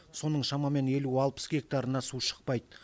соның шамамен елу алпыс гектарына су шықпайды